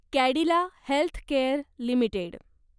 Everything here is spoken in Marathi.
Cadila healthcare limited